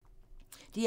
DR1